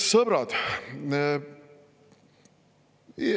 Sõbrad!